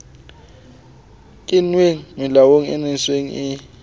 kenngwe melaong e nseng e